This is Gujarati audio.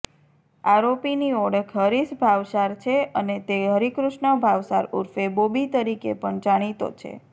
આરોપીની ઓળખ હરીશ ભાવસાર છે અને તે હરિકૃષ્ણ ભાવસાર ઉર્ફે બોબી તરીકે પણ જાણીતો છે